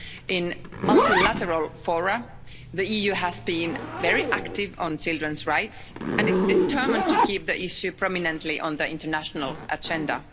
In multilateral fora, the EU has been very active on children's rights and is determined to keep the issue prominently on the international agenda.